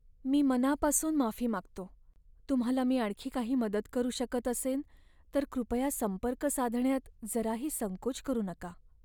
मी मनापासून माफी मागतो! तुम्हाला मी आणखी काही मदत करू शकत असेन तर कृपया संपर्क साधण्यात जराही संकोच करू नका.